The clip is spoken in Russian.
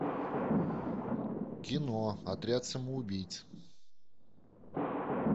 кино отряд самоубийц